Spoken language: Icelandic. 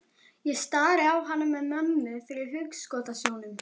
Ég stari á hana með mömmu fyrir hugskotssjónum.